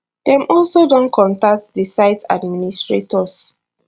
dem also don contact di site administrators